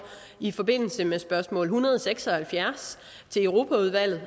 i forbindelse med spørgsmål hundrede og seks og halvfjerds til europaudvalget